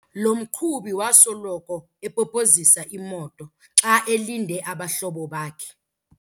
Lo mqhubi wasoloko epopozisa imoto xa elinde abahlobo bakhe.